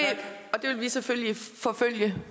det vil vi selvfølgelig forfølge